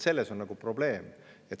Selles on probleem.